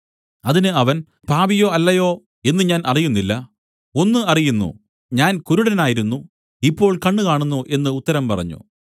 അതിന് അവൻ അവൻ പാപിയോ അല്ലയോ എന്നു ഞാൻ അറിയുന്നില്ല ഒന്ന് അറിയുന്നു ഞാൻ കുരുടനായിരുന്നു ഇപ്പോൾ കണ്ണ് കാണുന്നു എന്നു ഉത്തരം പറഞ്ഞു